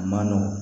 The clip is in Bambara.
A man nɔgɔn